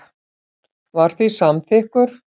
var því samþykkur.